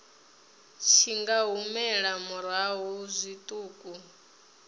tshi nga humela murahu zwiṱuku